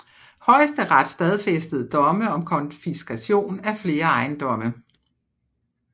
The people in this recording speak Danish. Højesteret stadfæstede domme om konfiskation af flere ejendomme